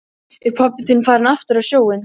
Er pabbi þinn farinn aftur á sjóinn?